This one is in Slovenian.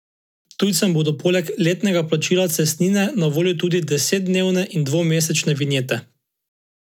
Tujcem bodo poleg letnega plačila cestnine na voljo tudi desetdnevne in dvomesečne vinjete.